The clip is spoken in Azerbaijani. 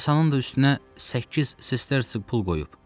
Masanın da üstünə səkkiz sisterçi pul qoyub.